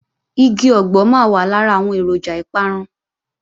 Igi ọ̀gbọ̀ máa wà lára àwọn èròjà ìparun